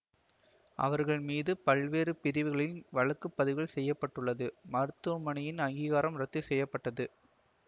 அவர்கள் மீது பல்வேறு பிரிவுகளில் வழக்கு பதிவு செய்ய பட்டுள்ளது மருத்துவமனையின் அங்கீகாரமும் ரத்து செய்ய பட்டது